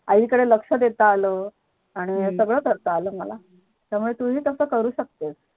आई कडे लक्ष देता आलं आणि सगळं करता आलं मला त्यामुळे तुही तस करूशकते